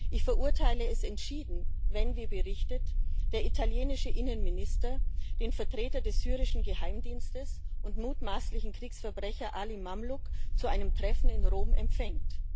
Ich verurteile es entschieden, wenn, wie berichtet, der italienische Innenminister den Vertreter des syrischen Geheimdienstes und mutmaßlichen Kriegsverbrecher Ali Mamluk zu einem Treffen in Rom empfängt.